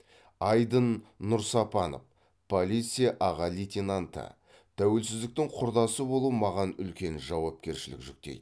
айдын нұрсапанов полиция аға лейтенанты тәуелсіздіктің құрдасы болу маған үлкен жауапкершілік жүктейді